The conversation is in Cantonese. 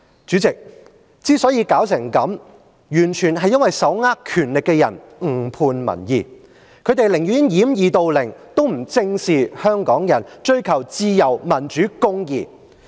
主席，香港之所以弄至今天這樣的情況，完全是因為手握權力的人誤判民意，他們寧願掩耳盜鈴，也不正視香港人是追求自由、民主、公義的群體。